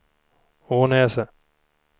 Ånäset